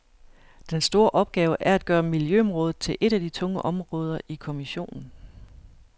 Den store opgave er at gøre miljøområdet til et af de tunge områder i kommissionen.